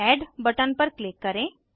add button पर click करें